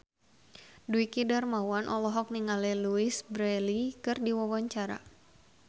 Dwiki Darmawan olohok ningali Louise Brealey keur diwawancara